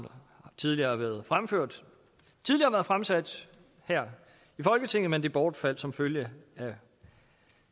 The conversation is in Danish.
tidligere har været fremført tidligere været fremsat her i folketinget men det bortfaldt som følge af